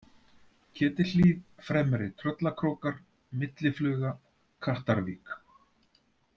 Ketilhlíð, Fremri-Tröllakrókar, Milli-Fluga, Kattarvík